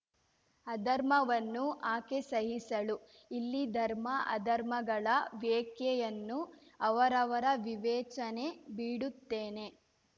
ಅಧರ್ಮವನ್ನು ಆಕೆ ಸಹಿಸಳು ಇಲ್ಲಿ ಧರ್ಮ ಅಧರ್ಮಗಳ ವೇಖ್ಯೆಯನ್ನು ಅವರವರ ವಿವೇಚನೆ ಬಿಡುತ್ತೇನೆ